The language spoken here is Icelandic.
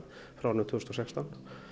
árið tvö þúsund og sextán